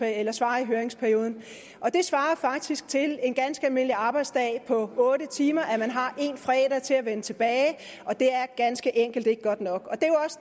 at svare i høringsperioden og det svarer faktisk til en ganske almindelig arbejdsdag på otte timer at man har en fredag til at vende tilbage og det er ganske enkelt ikke godt nok